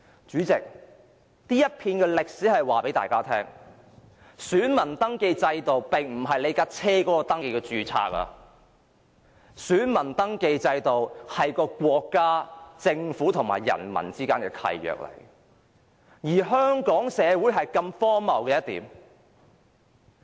主席，這一段歷史告知大家，選民登記制度並不是車輛的登記註冊，選民登記制度是國家、政府和人民之間的契約，而香港社會卻如此荒謬。